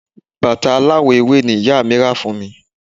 Bàtà aláwọ̀ ewé ni ìyá rà fún mi